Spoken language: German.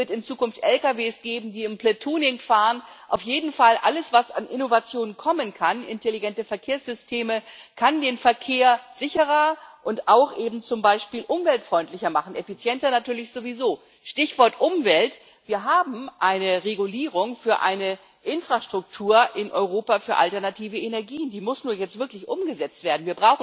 Es wird in Zukunft Lkw geben, die im platooning fahren. Auf jeden Fall, alles, was an Innovationen kommen kann, intelligente Verkehrssysteme, kann den Verkehr sicherer und auch eben zum Beispiel umweltfreundlicher machen, effizienter natürlich sowieso. Stichwort Umwelt Wir haben eine Regulierung für eine Infrastruktur in Europa für alternative Energien, die muss nur jetzt wirklich umgesetzt werden.